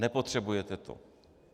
Nepotřebujete to!